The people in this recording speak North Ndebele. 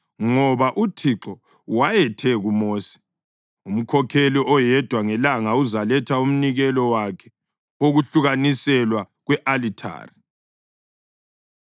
Ngoba uThixo wayethe kuMosi, “Umkhokheli oyedwa ngelanga uzaletha umnikelo wakhe wokwahlukaniselwa kwe-alithari.”